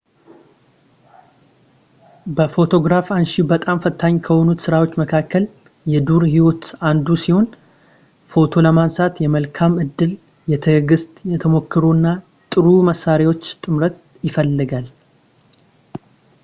ለፎቶግራፍ አንሺ በጣም ፈታኝ ከሆኑት ስራዎች መካከል የዱር ህይወት አንዱ ሲሆን ፎቶ ለማንሳት የመልካም ዕድል የትዕግሥት የተሞክሮ እና የጥሩ መሣሪያዎች ጥምረት ይፈልጋል